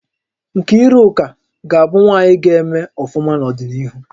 Nkiruka ga-abu nwaanyị gá-eme ọfụma n'odinihu